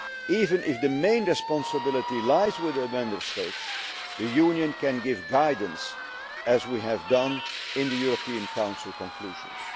people. Even if the main responsibility lies with the Member States, the Union can give guidance, as we have done in the European Council conclusions.